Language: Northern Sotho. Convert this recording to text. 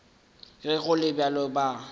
ge go le bjalo ba